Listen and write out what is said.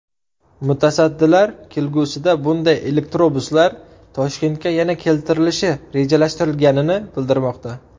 Mutasaddilar kelgusida bunday elektrobuslar Toshkentga yana keltirilishi rejalashtirilganini bildirmoqda.